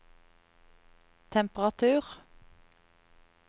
temperatur